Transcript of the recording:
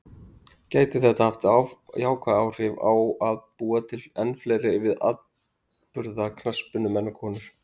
Gæti þetta haft jákvæð áhrif á að búa til enn fleiri afburða knattspyrnumenn og konur?